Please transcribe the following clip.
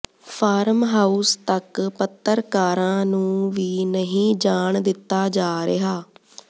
farm house ਤਕ ਪੱਤਰਕਾਰਾਂ ਨੂੰ ਵੀ ਨਹੀਂ ਜਾਣ ਦਿੱਤਾ ਜਾ ਰਿਹਾ